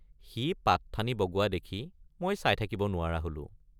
সি পাতঠানি বগোৱা দেখি মই চাই থাকিব নোৱাৰা হলো।